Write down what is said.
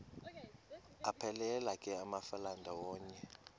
aphelela ke amafelandawonye